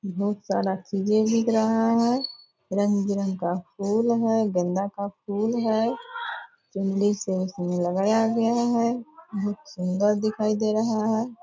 बहुत सारा चीजे बिक रहा है रंग-बिरंग का फुल है गेंदा का फुल है चुनरी से उसमें लगाया गया है बहुत सुंदर दिखाई दे रहा है ।